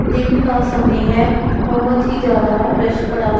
दिन का समय है बहोत ही ज्यादा रस पड़ा हो--